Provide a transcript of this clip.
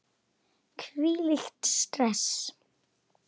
Hvílíkt stress!